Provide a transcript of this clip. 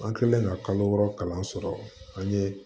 An kɛlen ka kalo wɔɔrɔ kalan sɔrɔ an ye